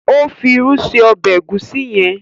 Ó fi irú ṣe ọbẹ Egusi yen.